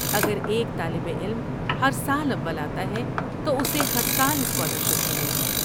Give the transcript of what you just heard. اگر ایک طالب علم ہر سال اول آتا ہے تو اسے ہر سال اسکالرشپ ملے گی۔